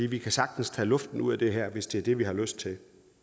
vi kan sagtens tage luften ud af det her hvis det er det vi har lyst til